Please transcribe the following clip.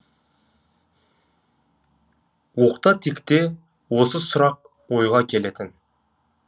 оқта текте осы сұрақ ойға келетін